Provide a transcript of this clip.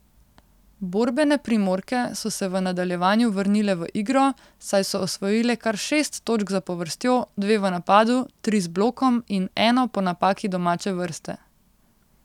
Borbene Primorke so se v nadaljevanju vrnile v igro, saj so osvojile kar šest točk zapovrstjo, dve v napadu, tri z blokom in eno po napaki domače vrste.